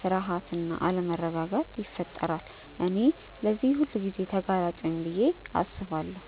ፍርሃት እና አለመረጋጋት ይፈጠራል። እኔም ለዚህ ሁልጊዜ ተጋላጭ ነኝ ብዬ አስባለሁ።